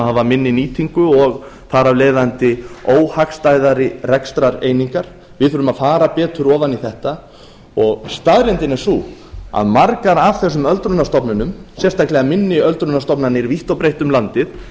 hafa minni nýtingu og þar af leiðandi óhagstæðari rekstrareiningar við þurfum að fara betur ofan í þetta staðreyndin er sú að margar af þessum öldrunarstofnunum sérstaklega minni öldrunarstofnanir vítt og breitt um